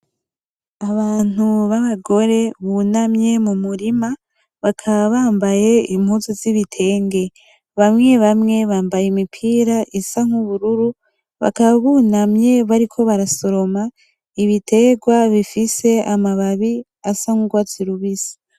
Abantu babagore bunamye mumurima bakaba bambaye impuzu zibitenge. Bamwe bamwe bambaye imipira isa nk'ubururu bakaba bunamye bariko barasoroma ibiterwa bifise amababi asa nkugwatsi rubisi.